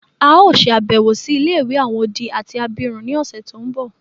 A o ṣe àbẹ̀wò si ilé-ìwé àwon odi àti abirún ni ọ̀ṣẹ̀ to nbọ.